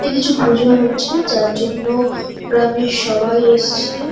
এখানে কিছু পুজো হচ্ছে যার জন্য গ্রামের সবাই এসছে ।